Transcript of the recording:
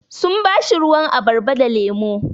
Sun ba shi ruwan abarba da lemu.